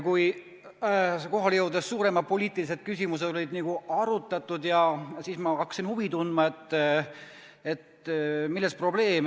Kui suuremad poliitilised küsimused olid arutatud, siis ma hakkasin huvi tundma, milles probleem.